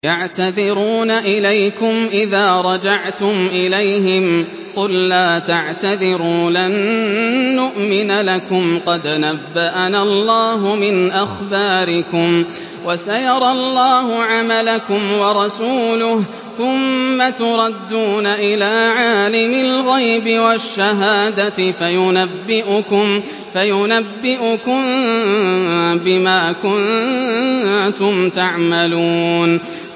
يَعْتَذِرُونَ إِلَيْكُمْ إِذَا رَجَعْتُمْ إِلَيْهِمْ ۚ قُل لَّا تَعْتَذِرُوا لَن نُّؤْمِنَ لَكُمْ قَدْ نَبَّأَنَا اللَّهُ مِنْ أَخْبَارِكُمْ ۚ وَسَيَرَى اللَّهُ عَمَلَكُمْ وَرَسُولُهُ ثُمَّ تُرَدُّونَ إِلَىٰ عَالِمِ الْغَيْبِ وَالشَّهَادَةِ فَيُنَبِّئُكُم بِمَا كُنتُمْ تَعْمَلُونَ